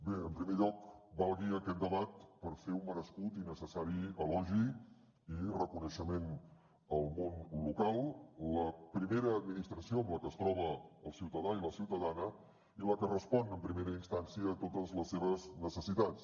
bé en primer lloc valgui aquest debat per fer un merescut i necessari elogi i reconeixement al món local la primera administració amb la que es troba el ciutadà i la ciutadana i la que respon en primera instància a totes les seves necessitats